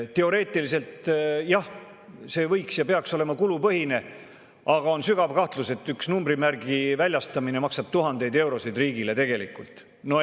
Teoreetiliselt, jah, see võiks ja peaks olema kulupõhine, aga on sügav kahtlus, et üks numbrimärgi väljastamine maksab riigile tegelikult tuhandeid eurosid.